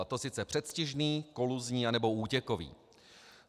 A to sice předstižný, koluzní anebo útěkový.